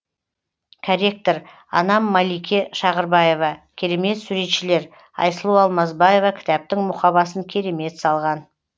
корректор анам малике шағырбаева керемет суретшілер айсұлу алмасбаева кітаптың мұқабасын керемет салған